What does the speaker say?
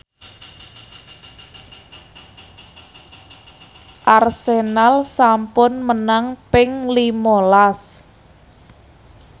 Arsenal sampun menang ping lima las